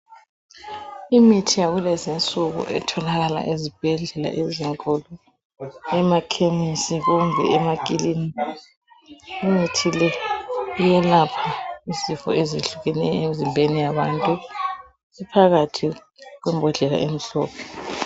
Imithi yakulezinsuku etholakala ezibhedlela ezinkulu, emakhemisi kumbe emakilinika. Umuthi le iyelapha izifo ezehlukeneyo emzimbeni yabantu iphakathi embodleleni emhlophe.